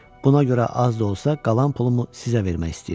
Buna görə az da olsa qalan pulumu sizə vermək istəyirəm.